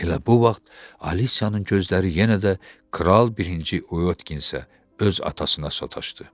Elə bu vaxt Alisiyanın gözləri yenə də kral birinci Oyotkinə, öz atasına sataşdı.